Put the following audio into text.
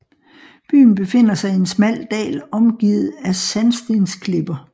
Byen befinder sig i en smal dal omgivet af sandstensklipper